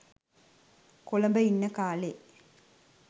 කොළඹ ඉන්න කාලෙ.